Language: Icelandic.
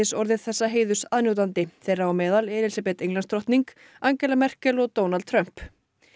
orðið þessa heiðurs aðnjótandi þeirra á meðal Elísabet Englandsdrottning Angela Merkel og Donald Trump